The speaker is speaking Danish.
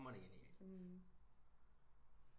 Hamrende genial